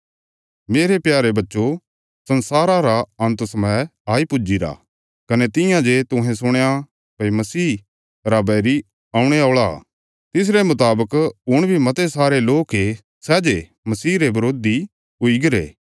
मेरे प्यारे बच्चो संसारा रा अन्त समय आई पुज्जीरा कने तियां जे तुहें सुणया भई मसीह रा बैरी औणे औल़ा तिसरे मुतावक हुण बी मते सारे लोक ये सै जे मसीह रे बरोधी हुईगरे इस कारण अहें जाणाँ ये भई यीशु मसीह जल़दी वापस औणा